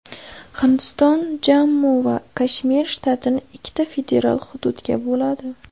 Hindiston Jammu va Kashmir shtatini ikkita federal hududga bo‘ladi.